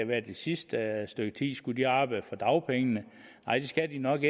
været det sidste stykke tid skulle de arbejde for dagpengene nej det skal de nok